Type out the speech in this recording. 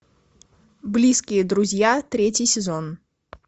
близкие друзья третий сезон